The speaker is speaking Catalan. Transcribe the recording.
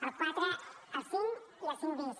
el quatre el cinc i el cinc bis